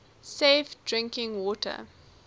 safe drinking water